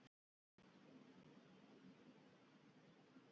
Og ekki til að stæra sig af!